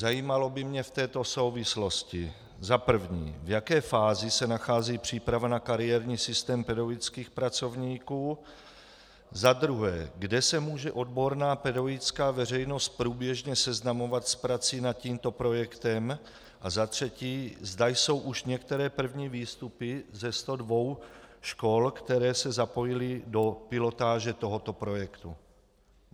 Zajímalo by mě v této souvislosti za prvé, v jaké fázi se nachází příprava na kariérní systém pedagogických pracovníků, za druhé, kde se může odborná pedagogická veřejnost průběžně seznamovat s prací nad tímto projektem, a za třetí, zda jsou už některé první výstupy ze 102 škol, které se zapojily do pilotáže tohoto projektu.